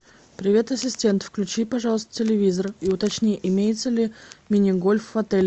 привет ассистент включи пожалуйста телевизор и уточни имеется ли мини гольф в отеле